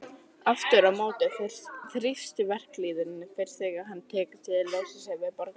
Aftur á móti þrífst verkalýðurinn fyrst þegar honum hefur tekist að losa sig við borgarastéttina.